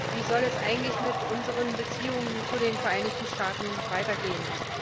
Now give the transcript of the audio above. Wie soll es eigentlich mit unseren Beziehungen zu den Vereinigten Staaten weitergehen?